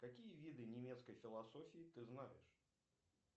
какие виды немецкой философии ты знаешь